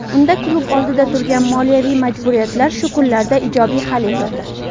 Unda klub oldida turgan moliyaviy majburiyatlar shu kunlarda ijobiy hal etildi.